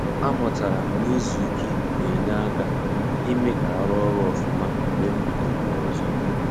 A mụtara m na-izu ike na-enye aka ime ka a ruo ọrụ ofuma mgbe m bidoro ya ọzọ